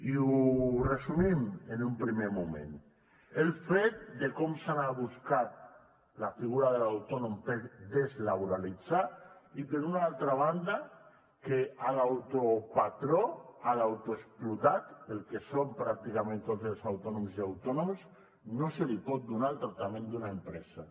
i ho resumim en un primer moment el fet de com s’ha buscat la figura de l’autònom per deslaboralitzar i per una altra banda que a l’autopatró a l’autoexplotat el que són pràcticament tots els autònoms i autònomes no se li pot donar el tractament d’una empresa